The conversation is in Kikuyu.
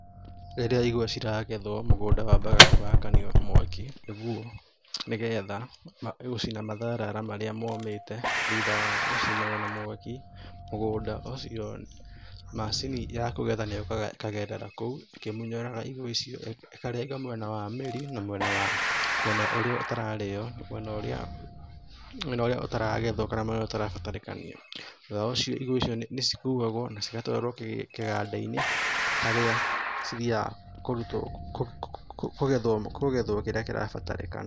Rĩrĩa igwa ciragethwo, mũgũnda wambaga ũgakanio na mwakĩ nĩgetha gũcina matharara marĩa momĩti thutha wagũcinwo na mwaki, mũgũnda ũcio, macini ya kũgetha nĩ yũkaga ĩkagerera kũu, ĩkimũnyoraga igwa icio ĩkĩrenga mwena wa mĩrĩ na mwena ũrĩa ũtaragethwo kana ũrĩa ũtarabatarĩkanio. Thutha ũcio igwa icio nĩcikuagwo na cigatwarwo kĩgadainĩ harĩa cithiaga kũgethwo kĩrĩa kĩrabatarĩkana.